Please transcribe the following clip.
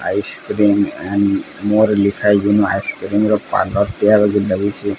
Ice cream and ମୋର ଲେଖାହୋଇଚି। ଏନୁ ଆଇସକ୍ରିମ ର ପାର୍ଲର ତିଆରି ହେଇଚି ଲାଗିଚି।